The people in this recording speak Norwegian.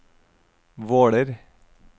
Våler